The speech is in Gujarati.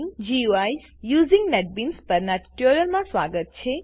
બિલ્ડિંગ ગુઇસ યુઝિંગ નેટબીન્સ પરનાં ટ્યુટોરીયલમાં સ્વાગત છે